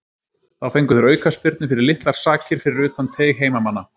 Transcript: Þá fengu þeir aukaspyrnu fyrir litlar sakir fyrir utan teig heimamanna.